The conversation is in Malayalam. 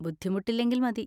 ബുദ്ധിമുട്ടില്ലെങ്കിൽ മതി.